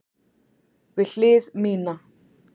Við hlið mína.